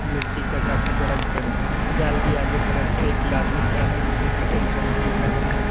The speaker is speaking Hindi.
मिट्टी का काफी बड़ा गड्ढा है जाल की आगे तरफ एक आदमी खड़ा है जिसने सफेद रंग की शर्ट पहन रखी--